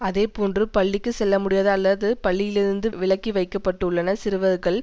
அதே போன்று பள்ளிக்கு செல்லமுடியாத அல்லது பள்ளியிலிருந்து விலக்கிவைக்கப்பட்டுள்ளன சிறுவர்கள்